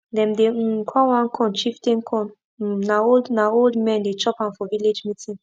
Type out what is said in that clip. dem dey um call one corn chieftain corn um na old na old men dey chop am for village meeting